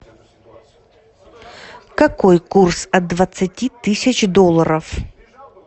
какой курс от двадцати тысяч долларов